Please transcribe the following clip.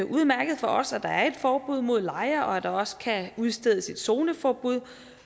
udmærket for os at der er et forbud mod lejre og at der også kan udstedes et zoneforbud